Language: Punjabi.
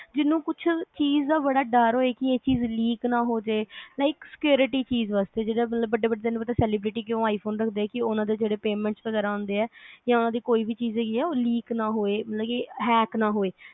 ਜਿਹਨੂੰ ਕਿਹ ਚੀਜ਼ ਦਾ ਬੜਾ ਡਰ ਹੋਏ ਕਿ ਇਹ ਚੀਜ਼ leak ਨਾ ਹੋਜੇ like security ਚੀਜ਼ ਵਾਸਤੇ ਜਿਹਦਾ ਵੱਡੇ ਵੱਡੇ celebrity ਕਿਊ ਰੱਖਦੇ ਆ i phone ਕੇ ਉਹਨਾਂ ਦੇ ਜਿਹੜੇ payment ਵਗੈਰਾ ਆਂਦੇ ਆ ਕੋਈ ਵੀ ਚੀਜ਼ ਹੇਗੀ ਆ ਉਹ leak ਨਾ ਹੋਵੇ ਮਤਲਬ hack ਨਾ ਹੋਵੇ